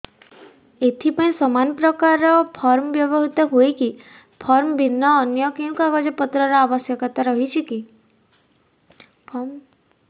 ଏଥିପାଇଁ ସମାନପ୍ରକାର ଫର୍ମ ବ୍ୟବହୃତ ହୂଏକି ଫର୍ମ ଭିନ୍ନ ଅନ୍ୟ କେଉଁ କାଗଜପତ୍ରର ଆବଶ୍ୟକତା ରହିଛିକି